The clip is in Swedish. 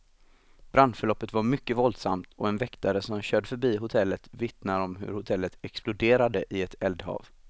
Brandförloppet var mycket våldsamt, och en väktare som körde förbi hotellet vittnar om hur hotellet exploderade i ett eldhav.